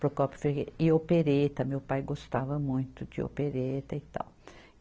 Procópio Ferreira e Opereta, meu pai gostava muito de Opereta e tal.